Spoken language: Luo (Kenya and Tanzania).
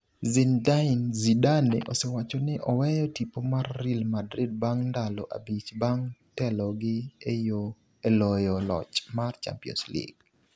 Zinedine Zidane osewacho ni oweyo tipo mar Real Madrid bang' ndalo abich bang' telogi e loyo loch mar Champions League.